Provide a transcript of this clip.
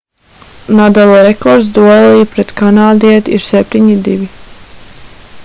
nadala rekords duelī pret kanādieti ir 7-2